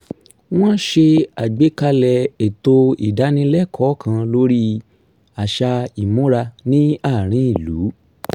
wọ́n s̩e àgbékalè̩ ètò ìdánilẹ́kọ̀ọ́ kan lórí àṣà ìmúra ní àárín ìlú